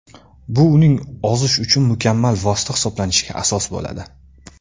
Bu uning ozish uchun mukammal vosita hisoblanishiga asos bo‘ladi.